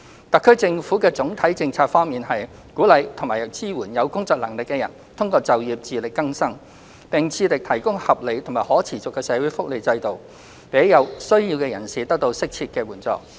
特區政府的總體政策方向是，鼓勵及支援有工作能力的人通過就業自力更生，並致力提供合理和可持續的社會福利制度，讓有需要的人士得到適切援助。